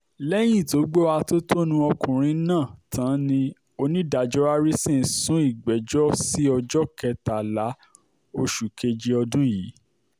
lẹ́yìn tó gbọ́ atótónu ọkùnrin náà tán ni onídàájọ́ harrison sún ìgbẹ́jọ́ sí ọjọ́ kẹtàlá oṣù keje ọdún yìí